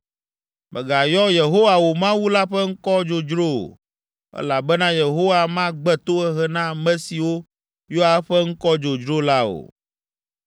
Mègayɔ Yehowa, wò Mawu la ƒe ŋkɔ dzodzro o, elabena Yehowa magbe tohehe na ame siwo yɔa eƒe ŋkɔ dzodzro la o.